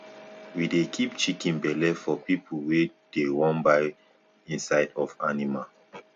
we dey keep chicken belle for pipu wey dey wan buy inside of animal